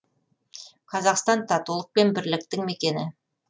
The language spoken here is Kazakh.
қазақстан татулық пен бірліктің мекені